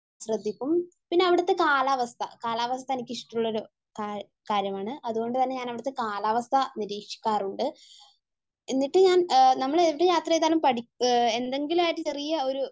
ശ്രദ്ധിക്കും, പിന്നെ അവിടുത്തെ കാലാവസ്ഥ, കാലാവസ്ഥ എനിക്കിഷ്ടമുള്ളോരു കാര്യമാണ്. അതുകൊണ്ടുതന്നെ ഞാൻ അവിടുത്തെ കാലാവസ്ഥ നിരീക്ഷിക്കാറുണ്ട്. എന്നിട്ട് ഞാൻ നമ്മൾ എവിടെ യാത്ര ചെയ്താലും പഠി, എന്തെങ്കിലുമായിട്ട് ചെറിയ ഒരു,